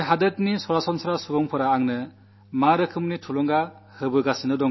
ഈ നാട്ടിലെ സാധാരണ മനുഷ്യൻ എനിക്കെങ്ങനെയാണു പ്രേരണയാകുന്നത്